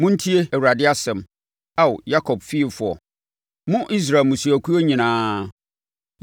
Montie Awurade asɛm, Ao Yakob fiefoɔ, mo Israel mmusuakuo nyinaa.